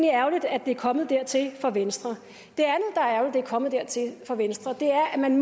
ærgerligt at det er kommet dertil for venstre at det er kommet dertil for venstre er at man